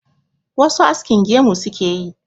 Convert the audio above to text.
wasu askin gemu suke yi